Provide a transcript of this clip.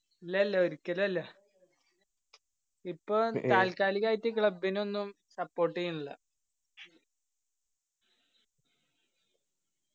ഇല്ല ഇല്ല ഒരിക്കല് അല്ല ഇപ്പൊ താൽക്കാലികളായിട്ട് club ഇനൊന്നും support എയ്യണില്ല